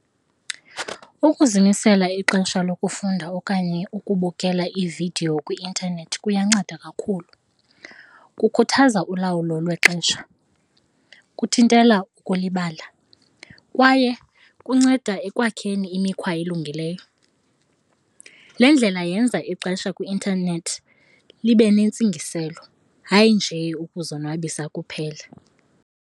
Ukuzimisela ixesha lokufunda okanye ukubukela iividiyo kwi-intanethi kuyanceda kakhulu, kukhuthaza ulawulo lwexesha, kuthintela ukulibala kwaye kunceda ekwakheni imikhwa elungileyo. Le ndlela yenza ixesha kwi-intanethi libe nentsingiselo, hayi nje ukuzonwabisa kuphela.